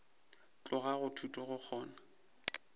tloga go thuto go kgona